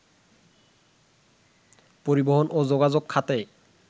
পরিবহন ও যোগাযোগ খাতে